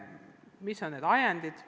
Mis on need ajendid?